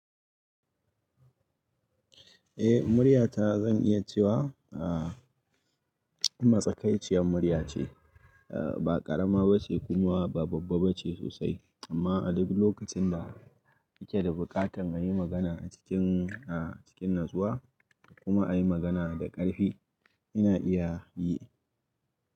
Eh, murya ta zan iya cewa a masakaiciyar murya ce. A ba ƙarama ba ce kuma ba babba ba ce sosai amma a dabi' lokacin da ake da buƙatar a yi magana a cikin a cikin natsuwa kuma a yi magana da ƙarfi ina iya yi.